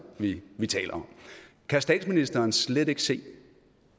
vi vi taler om kan statsministeren slet ikke se